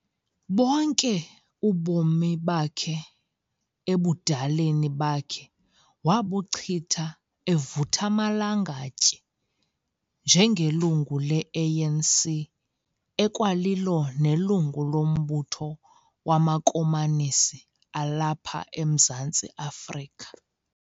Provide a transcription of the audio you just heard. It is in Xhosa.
Bonke ubomi bakhe ebudaleni bakhe wabuchitha evuth'amalangatye njengelungu leANC ekwalilo nelungu lombutho wamakomanisi alapha eMzantsi Afrika.